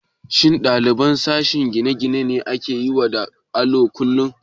Shin ɗaliban sashen gine-gine ne ke yawo da allo kullum?